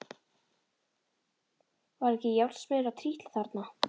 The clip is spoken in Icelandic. Var ekki járnsmiður að trítla þarna?